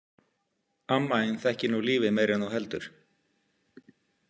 Amma þín þekkir nú lífið meira en þú heldur.